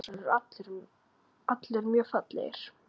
Þessir fossar eru allir mjög fallegir.